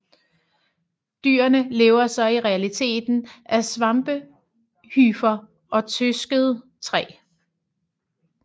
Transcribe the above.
Dyrene lever så i realiteten af svampehyfer og trøsket træ